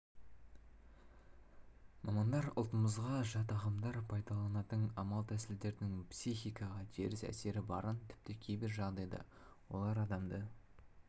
мамандар ұлтымызға жат ағымдар пайдаланатын амал-тәсілдердің психикаға теріс әсері барын тіпті кейбір жағдайда олар адамды